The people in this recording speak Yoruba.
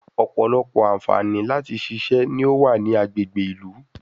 Ọ̀pọ̀lọpọ̀ àǹfààní láti ṣiṣẹ́ ni ó wà ní agbègbè ìlú